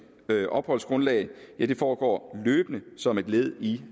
opholdsgrundlag foregår løbende som et led i